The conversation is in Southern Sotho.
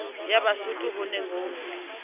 ya basotho ho ne ho